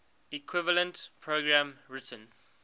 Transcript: equivalent program written